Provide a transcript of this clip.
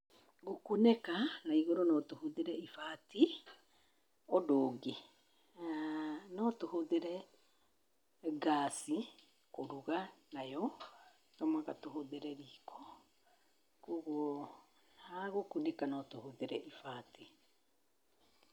Gũkunĩka igũrũ notũhũthĩre ibati. ũndũ ũngĩ notũhũthĩe gas kũruga, tomũhaka tũhũthĩre riko. Kuogwo hagũkunĩka notũhũthĩre ibati.